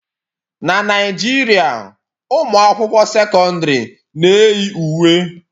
Na Naijiria, ụmụ akwụkwọ sekọndrị na-eyi uwe.